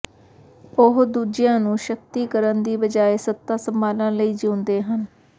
ਉਹ ਦੂਜਿਆਂ ਨੂੰ ਸ਼ਕਤੀਕਰਨ ਦੀ ਬਜਾਏ ਸੱਤਾ ਸੰਭਾਲਣ ਲਈ ਜੀਉਂਦੇ ਹਨ